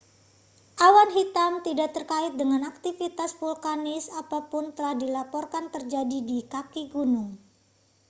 awan hitam tidak terkait dengan aktivitas vulkanis apa pun telah dilaporkan terjadi di kaki gunung